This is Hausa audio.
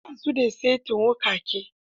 Ba su da saitin wuƙaƙe.